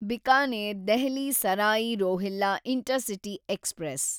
Bikaner Delhi Sarai Rohilla intercity express